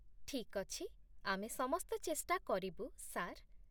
ଠିକ୍ ଅଛି, ଆମେ ସମସ୍ତ ଚେଷ୍ଟା କରିବୁ, ସାର୍।